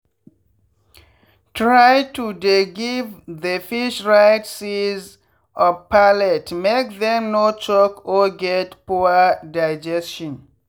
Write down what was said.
try to dey give the fish right size of pellet make them no choke or get poor digestion.